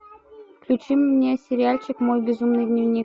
включи мне сериальчик мой безумный дневник